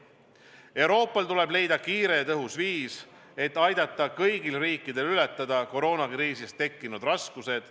Euroopal tuleb leida kiire ja tõhus viis, et aidata kõigil riikidel ületada koroonakriisi tõttu tekkinud raskused.